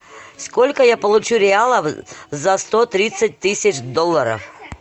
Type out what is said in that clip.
сколько я получу реалов за сто тридцать тысяч долларов